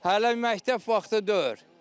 Hələ məktəb vaxtı deyil.